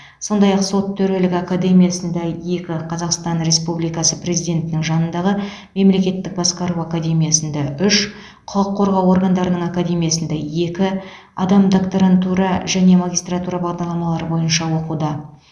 сондай ақ сот төрелігі академиясында екі қазақстан республикасы президентінің жанындағы мемлекеттік басқару академиясында үш құқық қорғау органдарының академиясында екі адам докторантура және магистратура бағдарламалары бойынша оқуда